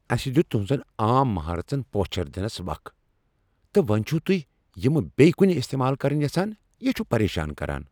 اَسہِ دِیُت تہنزن عام مہارتہن پوچھر دِنس وق ، تہٕ وۄنۍ چھو تُہۍ یمہٕ بییہ کُنہِ استعمال كرٕنۍ یژھان ۔ یہِ چُھ پریشان كران ۔